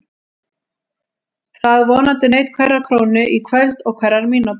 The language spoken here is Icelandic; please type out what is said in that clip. Það vonandi naut hverrar krónu í kvöld og hverrar mínútu.